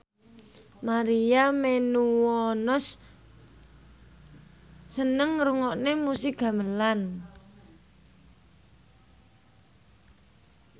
Maria Menounos seneng ngrungokne musik gamelan